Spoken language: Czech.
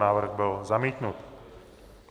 Návrh byl zamítnut.